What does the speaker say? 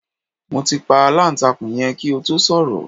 Mo ti pa aláǹtakùn yẹn kí o tó sọ̀rọ̀